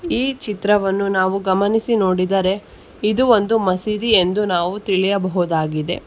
ಈ ಚಿತ್ರವನ್ನು ನಾವು ಗಮನಿಸಿ ನೋಡಿದರೆ ಇದು ಒಂದು ಮಸೀದಿ ಎಂದು ನಾವು ತಿಳಿಯಬಹುದಾಗಿದೆ.